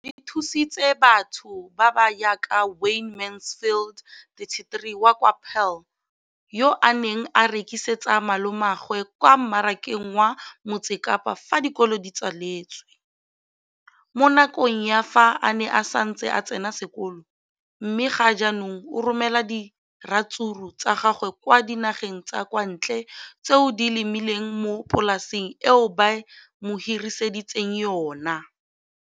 Leno le thusitse batho ba ba jaaka Wayne Mansfield, 33, wa kwa Paarl, yo a neng a rekisetsa malomagwe kwa Marakeng wa Motsekapa fa dikolo di tswaletse, mo nakong ya fa a ne a santse a tsena sekolo, mme ga jaanong o romela diratsuru tsa gagwe kwa dinageng tsa kwa ntle tseo a di lemileng mo polaseng eo ba mo hiriseditseng yona.